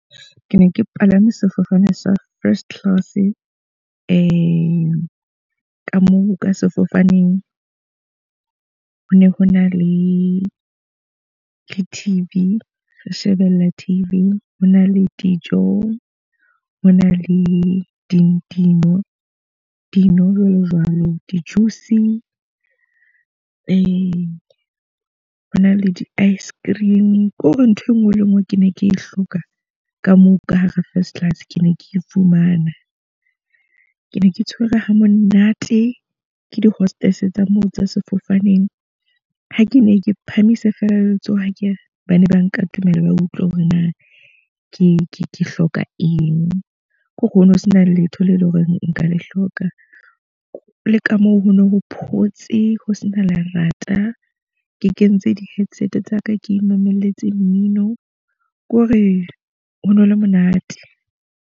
Ke ne ke palame sefofane sa first class. ka moo ka sefofaneng ho ne ho na le T_V, re shebella T_V. Ho na le dijo, ho na le di di. Dino jwalo jwalo, di-juice hona le di-ice-cream. Ko re ntho e nngwe le e nngwe ke ne ke e hloka ka moo ka hara first class, ke ne ke e fumana. Ke ne ke tshwere ha monate ke di-hostess tsa moo tsa sefofaneng. Ha ke ne ke phamisa feela letsoho ha ke bane ba nkatomela, ba utlwe hore na ke hloka eng hore ho no ho sena letho leo e leng hore nka le hloka. Le ka moo ho no ho photse ho sena lerata, ke kentse di-headset tsa ka ke mamelletse mmino. Ko re ho no le monate.